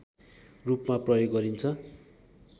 रूपमा प्रयोग गरिन्छ